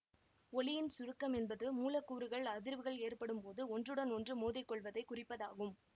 ஒலியின் சுருக்கம் என்பது மூலக்கூறுகள் அதிர்வுகள் ஏற்படும் போது ஒன்றுடன் ஒன்று மோதிக்கொள்வதை குறிப்பதாகும்